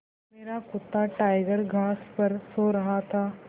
मेरा कुत्ता टाइगर घास पर सो रहा था